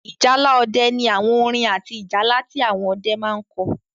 Ìjálá ọdẹ ní àwọn orin àti ìjálá tí àwọn ọdẹ máa n kọ